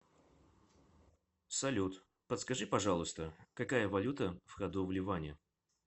салют подскажи пожалуйста какая валюта в ходу в ливане